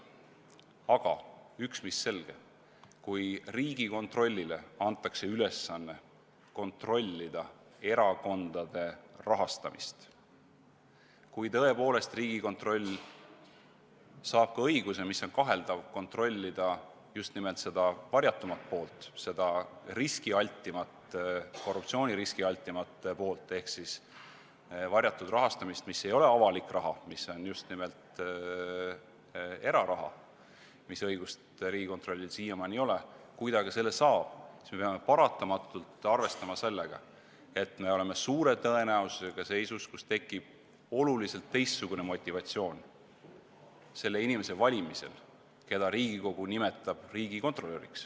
Aga üks mis selge: kui Riigikontrollile antakse ülesanne kontrollida erakondade rahastamist, kui tõepoolest Riigikontroll saab kaheldava õiguse kontrollida just nimelt seda varjatumat poolt, seda riskialtimat, korruptsiooniriskialtimat poolt ehk siis varjatud rahastamist, mille puhul pole tegu avaliku rahaga, vaid just nimelt erarahaga – seda õigust Riigikontrollil siiamaani ei ole –, kui ta selle saab, siis me peame paratamatult arvestama sellega, et me oleme suure tõenäosusega seisus, kus tekib oluliselt teistsugune motivatsioon selle inimese valimisel, kelle ametinimetus on riigikontrolör.